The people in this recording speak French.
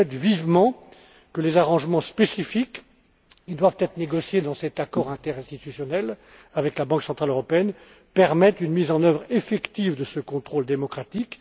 Je souhaite vivement que les arrangements spécifiques, qui doivent être négociés dans cet accord interinstitutionnel avec la Banque centrale européenne, permettent une mise en œuvre effective de ce contrôle démocratique.